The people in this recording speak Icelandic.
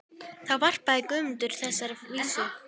Þá varpaði Guðmundur fram þessari vísu